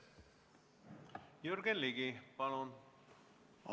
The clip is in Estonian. Jürgen Ligi, palun!